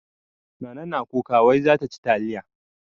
Nana na kuka wai za ta ci taliya.